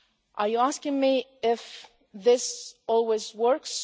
this. Are you asking me if this always